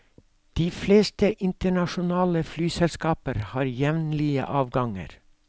De fleste internasjonale flyselskaper har jevnlige avganger.